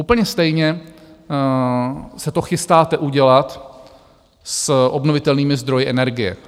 Úplně stejně se to chystáte udělat s obnovitelnými zdroji energie.